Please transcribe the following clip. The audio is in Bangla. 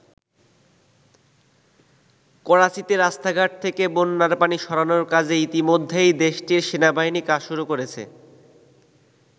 করাচীতে রাস্তাঘাট থেকে বন্যার পানি সরানোর কাজে ইতিমধ্যেই দেশটির সেনাবাহিনী কাজ শুরু করেছে।